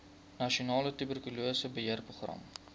nasionale tuberkulose beheerprogram